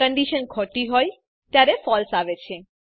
condition ખોટી હોય ત્યારે ફળસે આવે છે